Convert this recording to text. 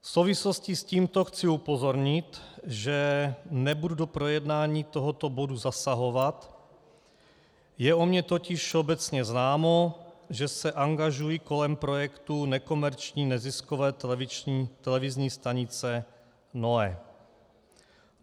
V souvislosti s tímto chci upozornit, že nebudu do projednání tohoto bodu zasahovat, je o mě totiž všeobecně známo, že se angažuji kolem projektu nekomerční neziskové televizní stanice NOE.